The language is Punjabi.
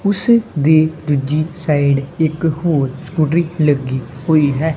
ਉਸ ਦੀ ਦੂਜੀ ਸਾਈਡ ਇੱਕ ਹੋਰ ਸਕੂਟਰੀ ਲੱਗੀ ਹੋਈ ਹੈ।